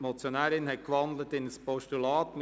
Die Motionärin hat in ein Postulat gewandelt.